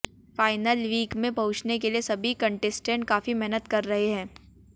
final week में पहुंचने के लिए सभी कंटेस्टेंट काफी मेहनत कर रहे हैं